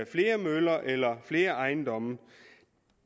flere møller eller flere ejendomme